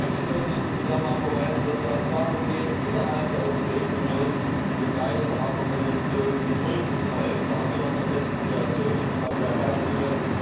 Ich möchte in diesem Zusammenhang nur darauf verweisen, dass es auch darum geht, innerhalb der Europäischen Union dem Geist der Haager Konvention zum Durchbruch zu verhelfen. Da haben wir noch groteske Situationen. Ich nehme mal zwei Beispiele.